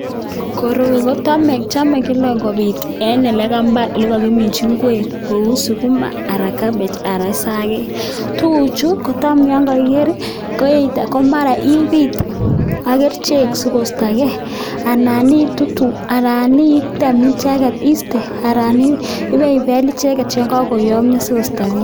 Koroi kochome kobiit kila en elekambar en ekakiminchi ngwek kouu sukuma aran cabbage aran sakek, tukuchu kotam yoon ko kiker ko mara ibiit ak kerichek sikostoke anan itutu anan item icheket istee aran ibei beel icheket yekokoyomnyo sikostoke.